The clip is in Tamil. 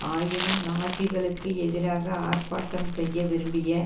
ஆயினும் நாஜிக்களுக்கு எதிராக ஆர்ப்பாட்டம் செய்ய விரும்பிய